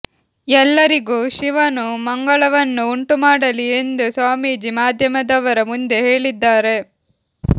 ಎಲ್ಲರಿಗೂ ಶಿವನು ಮಂಗಳವನ್ನು ಉಂಟುಮಾಡಲಿ ಎಂದು ಸ್ವಾಮೀಜಿ ಮಾಧ್ಯಮದವರ ಮುಂದೆ ಹೇಳಿದ್ದಾರೆ